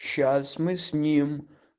сейчас мы с ним